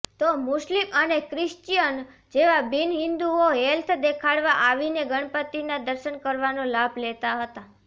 તો મુસ્લિમ અને ક્રિશ્ચિયન જેવા બિનહિન્દુઓ હેલ્થ દેખાડવા આવીને ગણપતિનાં દર્શન કરવાનો લાભ લેતા હતા